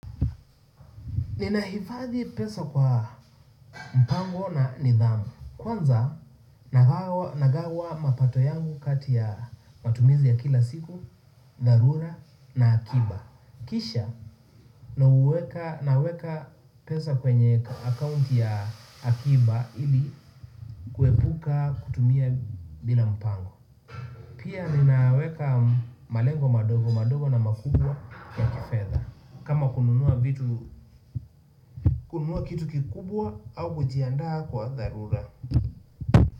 Ninahifadhi pesa kwa mpango na nidhamu. Kwanza nagawa mapato yangu kati ya matumizi ya kila siku, dharura na akiba. Kisha naweka pesa kwenye akaunti ya akiba ili kuepuka kutumia bila mpango. Pia ninaweka malengo madogo madogo na makubwa ya kifedha. Kama kununua vitu kununua kitu kikubwa au kujiandaa kwa dharura.